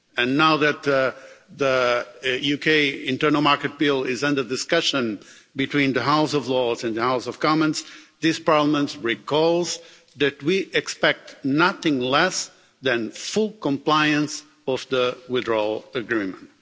And now that the UK Internal Market Bill is under discussion between the House of Lords and the House of Commons, this Parliament recalls that we expect nothing less than full compliance with the withdrawal agreement.